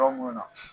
Yɔrɔ mun na